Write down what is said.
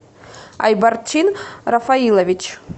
айбарчин рафаилович